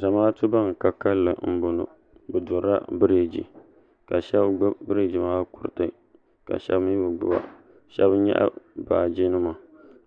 Zamaatu ban ka kalinli m-bɔŋɔ bɛ durila biriigi ka shɛba gbubi biriigi maa kuriti ka shɛba mi bi gbuba shɛba nyaɣi baajinima